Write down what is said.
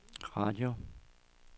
radio